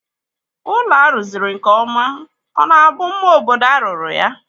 Ụlọ a rụziri nkeọma ọ na-bụ mma obodo a rụrụ ya?